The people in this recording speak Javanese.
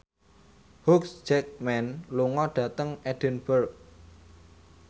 Hugh Jackman lunga dhateng Edinburgh